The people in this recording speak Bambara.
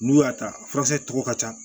N'u y'a ta a furasɛ tɔgɔw ka ca